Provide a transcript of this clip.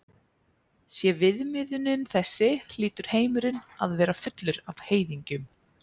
Sé viðmiðunin þessi hlýtur heimurinn að vera fullur af heiðingjum.